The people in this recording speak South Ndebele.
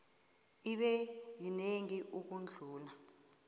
ibe yinengi ukudlula